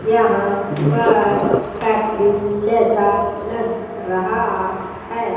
यहां पर फैक्ट्री जैसा लग रहा है।